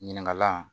Ɲininkalan